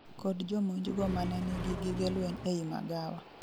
kod jomonjgo mane nigi gige lweny ei magawa